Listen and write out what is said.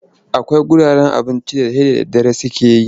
Akwai wuraren abincin da sai da daddare suke buɗewa.